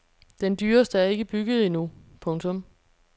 Den dyreste er ikke bygget endnu. punktum